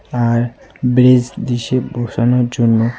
আর bench দিসে বসানোর জন্য।